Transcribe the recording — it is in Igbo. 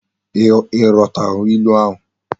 I ghotara ilu ahu?